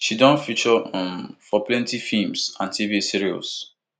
she don feature um for plenty feems and tv series